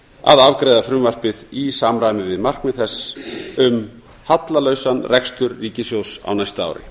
að afgreiða frumvarpið í samræmi við markmið þess um hallalausan rekstur ríkissjóðs á næsta ári